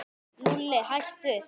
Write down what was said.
Lúlli, hættu.